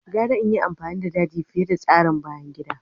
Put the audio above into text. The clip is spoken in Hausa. Gara in yi amfani da daji fiye da tsarin bayan gida.